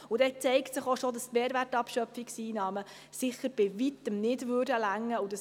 Dann zeigt sich auch bereits, dass die Mehrwertabschöpfungseinnahmen sicher bei Weitem nicht ausreichen würden.